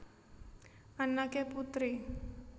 Anneke Putri